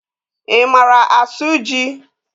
I mara asụ jị?